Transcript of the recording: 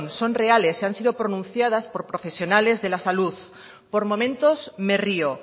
son reales y han sido pronunciadas por profesionales de la salud por momentos me río